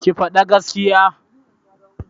Ki fada gaskiya!